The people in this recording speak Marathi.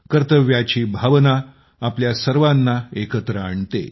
कर्तव्याची भावना आपल्या सर्वांना एकत्र आणते